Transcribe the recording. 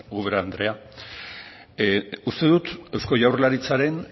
ubera andrea uste dut eusko jaurlaritzaren